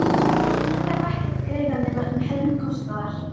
Hún þarf ekki að greiða nema um helming kostnaðar.